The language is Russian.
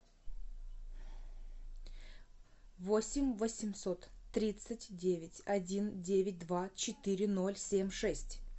восемь восемьсот тридцать девять один девять два четыре ноль семь шесть